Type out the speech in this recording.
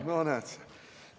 No näed!